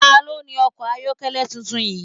Ta ló ni ọkọ̀ ayokele tuntun yìí?